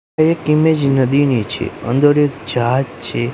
એક ઇમેજ નદીની છે અંદર જહાજ છે.